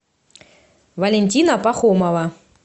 валентина пахомова